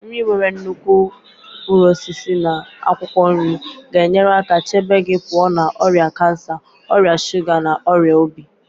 Nri nwere nnukwu mkpụrụ osisi na akwụkwọ nri ga-enyere aka chebe gị pụọ na ọrịa kansa, ọrịa shuga na ọrịa obi.